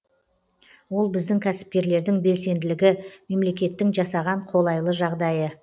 ол біздің кәсіпкерлердің белсенділігі мемлекеттің жасаған қолайлы жағдайы